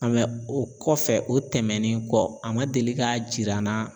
o kɔfɛ o tɛmɛnen kɔ a ma deli k'a jira na